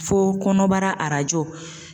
Fo kɔnɔbara